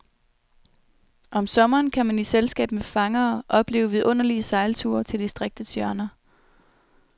Om sommeren kan man i selskab med fangere opleve vidunderlige sejlture til distriktets hjørner.